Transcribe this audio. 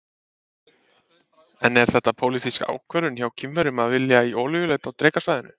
En er þetta pólitísk ákvörðun hjá Kínverjum að vilja í olíuleit á Drekasvæðinu?